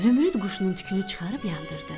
Zümrüd quşunun tükünü çıxarıb yandırdı.